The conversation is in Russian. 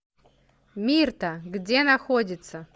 мирта где находится